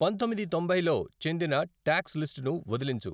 పందొమ్మిది తొంభైలో చెందిన టాక్స్ లిస్టును వదిలించు